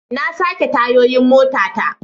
Na sake tayoyin motata.